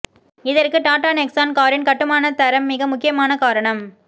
இதற்கு டாடா நெக்ஸான் காரின் கட்டுமான தரம் மிக முக்கியமான காரணம்